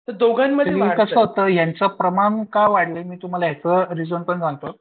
पूर्वी कसं होतं यांचं प्रमाण का वाढलंय मी तुम्हाला एक रिजन पण सांगतो.